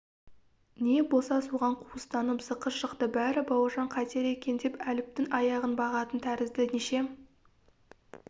не болса соған қуыстанып зықы шықты бәрі бауыржан қайтер екен деп әліптің аяғын бағатын тәрізді неше